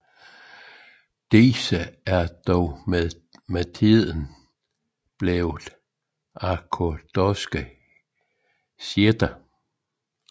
Disse er dog med tiden blevet ortodokse shiitter